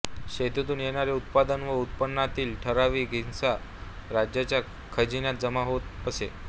शेतीतून येणारे उत्पादन व उत्पन्नातील ठराविक हिस्सा राजाच्या खजिन्यात जमा होत असे